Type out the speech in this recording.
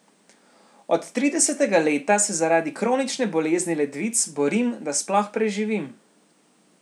Od tridesetega leta se zaradi kronične bolezni ledvic borim, da sploh preživim.